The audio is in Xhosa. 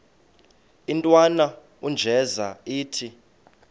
intwana unjeza ithi